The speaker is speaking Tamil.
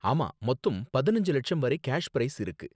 ஆமா, மொத்தம் பதினஞ்சு லட்சம் வரை கேஷ் ப்ரைஸ் இருக்கு